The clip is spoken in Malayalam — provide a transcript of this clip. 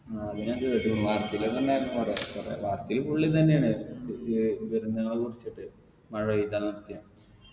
ആ അത് ഞാൻ കേട്ടിക്കുണു വാർത്തയിലെല്ലാം ഉണ്ടായിരുന്നു കൊറേ കൊറേ വാർത്തയിൽ full ഇതെന്നേണ് ഏർ ദുരന്തങ്ങളെ കുറിച്ചിട്ട് മഴ പെയ്താ നിർത്തിയെ